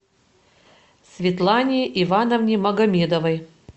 светлане ивановне магомедовой